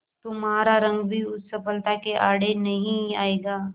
तुम्हारा रंग भी उस सफलता के आड़े नहीं आएगा